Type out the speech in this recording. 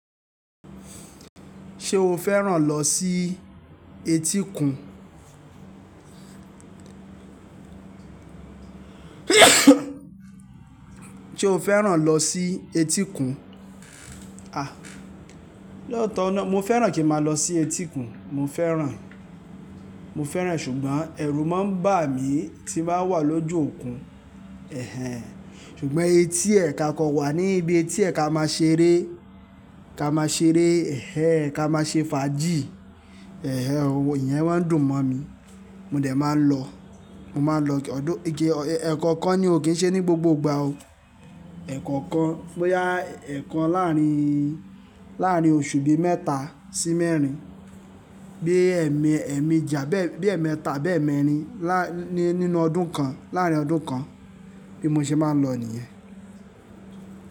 Ṣé o fẹ́ràn lọ sí etíkun? Ṣé o fẹ́ràn lọ sí etíkun? A! Lóòótọ̀ na, mo fẹ́ràn kí n má lọ sí etíkun, mo fẹ́ràn, mo fẹ́ràn ṣùgbọ́n ẹ̀rù má ń bà mí tí n ba wà lójú òkun. Ẹ̀hẹn! Ṣùgbọ́n etí ẹ̀ ka kọ wà ní ibi tí ẹ̀ ka máa ṣeré, ka máa ṣeré, ẹ̀hẹn! Ka máa ṣe fàájì. Ẹ̀hẹn! Ohun ìyẹn má ń dùn mọ̀ mí. Mò dẹ̀ máa ń lọ, mo máa ń lọ, although ẹ̀kọ̀okan ni o, kì í ṣe ní gbogbo ìgbà o. Ekọ̀okan, boyá ẹ̀ẹ̀kan làárín, làárín oṣù bí mẹ́ta sí mẹ́rin. Bí ẹ̀ẹ̀me, ẹ̀ẹ̀meji, abi bí ẹ̀ẹ̀mẹ́ta, àbẹ́e mẹ́rin laa nínú ọdún kan, láàárín ọdún kan. Bí mo ṣe máa ń lọ nìyẹn.